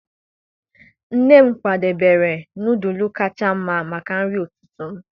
nne m kwadebere nọdụlụ kacha mma maka nri ụtụtụ m.